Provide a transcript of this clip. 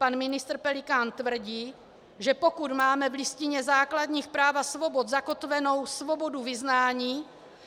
Pan ministr Pelikán tvrdí, že pokud máme v Listině základních práv a svobod zakotvenou svobodu vyznání,